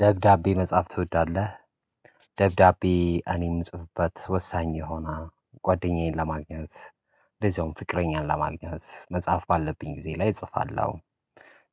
ደብዳቤ መጽሐፍ ትወዳለህ? ደብዳቤ እኔ የምጽፍበት ወሳኝ የሆነ ጓደኛዬን ለማግኘት እንደዚሁም ፍቅረኛን ለማግኘት መጽሐፍ ባለብኝ ጊዜ ላይ እጽፋለሁ።